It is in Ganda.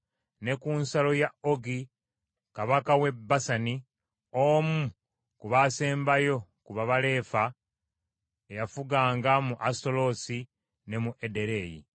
ne ku nsalo ya Ogi kabaka w’e Basani, omu ku baasembayo ku ba Balefa eyafuganga mu Asutaloosi ne mu Ederei.